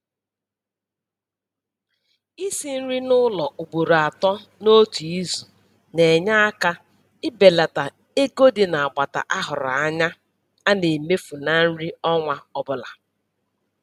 Isi nri n'ụlọ ugboro atọ n'otu izu na-enye aka ibelata ego dị n'agbata a hụrụ anya a na-emefu na nri ọnwa ọbụla.